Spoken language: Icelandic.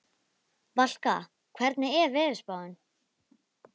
Valka, hvernig er veðurspáin?